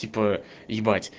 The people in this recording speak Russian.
типа